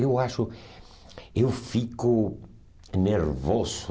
Eu acho, eu fico nervoso